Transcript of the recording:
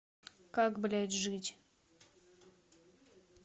как блять жить